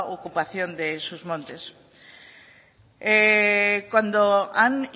ocupación de sus montes cuando han